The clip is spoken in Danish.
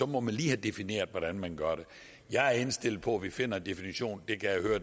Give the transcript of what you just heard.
må man lige have defineret hvordan man gør det jeg er indstillet på at vi finder en definition